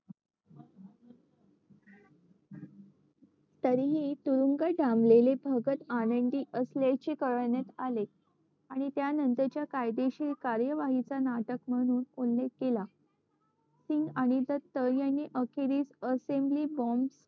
तरीही तुरुंगात डांबलेले भगत आनंदी असल्याचे कळविले आणि त्यानंतरच्या कायदेशीर कार्यवाहीचा नाटक म्हणून उल्लेख केला सिंग आणि दत्त यांनी अखेरीस असेम्ब्ली बॉम्ब